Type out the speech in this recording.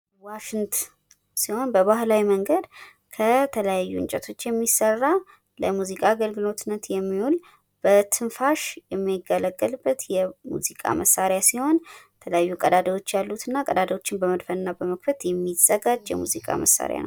ዋሺንት ሲሆን በባህላዊ መንገድ ከተለያዩ እንጨቶች የሚሰራ ለሙዚቃ አገልግሎትነት የሚዉል፤ በትንፋሽ የምንገለገልበት የሙዚቃ መሳሪያ ሲሆን ፤ የተለያዩ ቀዳዳዎች ያሉት እና ቀዳዳዎቹን በመድፈን እና በመዝጋት የሚዘጋጅ የሙዚቃ መሳሪያ ነው።